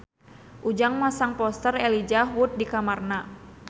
Ujang masang poster Elijah Wood di kamarna